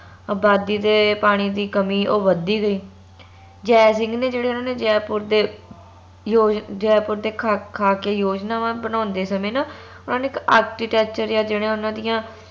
ਅਬਾਦੀ ਦੇ ਪਾਣੀ ਦੀ ਕਮੀ ਉਹ ਵਧਦੀ ਗਈ ਜੈ ਸਿੰਘ ਨੇ ਜੇਹੜੇ ਓਨਾ ਦੇ ਜੈਪੁਰ ਦੇ ਯੋਜ ਜੈਪੁਰ ਦੇ ਖਾ ਖਾਕੇ ਯੋਜਨਾਵਾਂ ਬਣਾਉਂਦੇ ਸਮੇ ਨਾ ਓਹਨਾ ਨੇ ਇਕ architecture ਯਾ ਜਿਹੜੇ ਓਹਨਾ ਦੀਆਂ